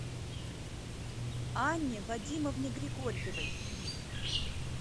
анне вадимовне григорьевой